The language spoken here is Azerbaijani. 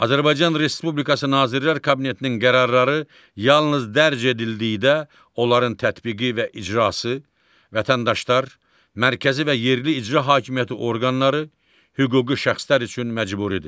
Azərbaycan Respublikası Nazirlər Kabinetinin qərarları yalnız dərc edildikdə onların tətbiqi və icrası vətəndaşlar, mərkəzi və yerli icra hakimiyyəti orqanları, hüquqi şəxslər üçün məcburidir.